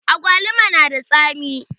Awaluma na da tsami